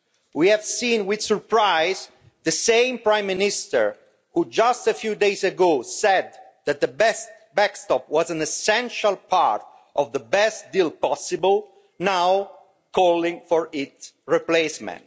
We have seen with surprise the same Prime Minister who just a few days ago said that the best backstop was an essential part of the best deal possible, now calling for its replacement.